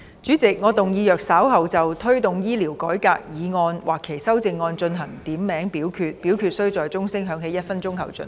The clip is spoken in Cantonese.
主席，我動議若稍後就"推動醫療改革"所提出的議案或其修正案進行點名表決，表決須在鐘聲響起1分鐘後進行。